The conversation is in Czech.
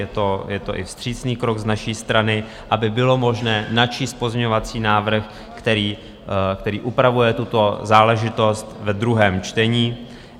Je to i vstřícný krok z naší strany, aby bylo možné načíst pozměňovací návrh, který upravuje tuto záležitost ve druhém čtení.